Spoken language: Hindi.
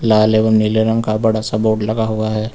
लाल एवं नीले रंग का बड़ा सा बोर्ड लगा हुआ है।